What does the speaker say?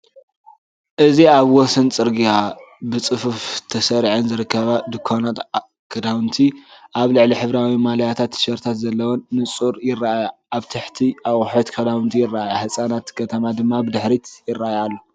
እዚ ኣብ ወሰን ጽርግያ ብጽፉፍ ተሰሪዐን ዝርከባ ድኳናት ክዳውንቲ፡ ኣብ ላዕሊ ሕብራዊ ማልያታትን ቲሸርታትን ዘለወን፡ ብንጹር ይረኣያ። ኣብ ታሕቲ ኣቑሑት ክዳውንቲ ይረኣያ፡ ህንጻታት ከተማ ድማ ብድሕሪት ይረኣያ ኣሎ።